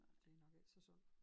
Det nok ikke så sundt